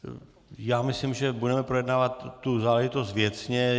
Já myslím, že budeme projednávat tu záležitost věcně.